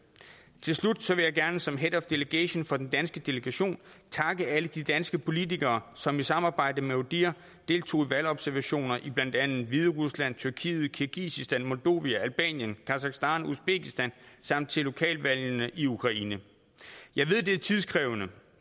til slut vil jeg gerne som head of delegation for den danske delegation takke alle de danske politikere som i samarbejde med odihr deltog i valgobservationer i blandt andet hviderusland tyrkiet kirgisistan moldovia albanien kasakhstan usbekistan samt ved lokalvalgene i ukraine jeg ved at det er tidskrævende